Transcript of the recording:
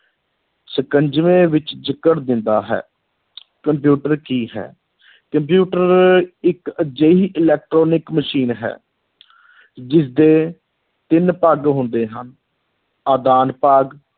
ਸ਼ਿਕੰਜਵੇਂ ਵਿੱਚ ਜਕੜ ਦਿੰਦਾ ਹੈ ਕੰਪਿਊਟਰ ਕੀ ਹੈ ਕੰਪਿਊਟਰ ਇ`ਕ ਅਜਿਹੀ electronic ਮਸ਼ੀਨ ਹੈ ਜਿਸਦੇ ਤਿੰਨ ਭਾਗ ਹੁੰਦੇ ਹਨ, ਆਦਾਨ ਭਾਗ,